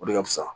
O de ka fisa